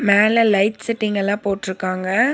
மேல light setting எல்லா போட்ருக்காங்க.